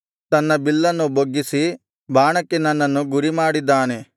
ತನ್ನ ಬಿಲ್ಲನ್ನು ಬೊಗ್ಗಿಸಿ ಬಾಣಕ್ಕೆ ನನ್ನನ್ನು ಗುರಿಮಾಡಿಕೊಂಡಿದ್ದಾನೆ